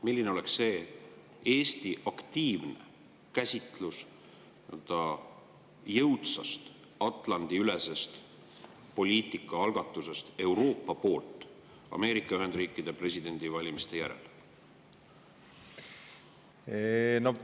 Milline oleks see Eesti aktiivne käsitlus jõudsast Atlandi-ülesest poliitika algatamisest Euroopa poolt Ameerika Ühendriikide presidendivalimiste järel?